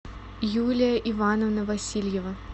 юлия ивановна васильева